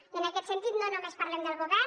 i en aquest sentit no només parlem del govern